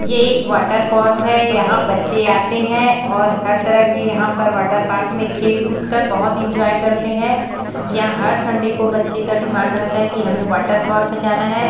ये एक वाटरपार्क है यहाँ बच्चे आते है और हर तरह के यहाँ पर वाटरपार्क में खेल कूदकर बोहत एन्जॉय करते है यहाँ हर सन्डे को बच्चें का डिमांड रहता है कि हमें वाटरपार्क जाना हैं।